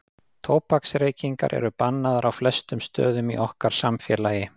Tóbaksreykingar eru bannaðar á flestum stöðum í okkar samfélagi.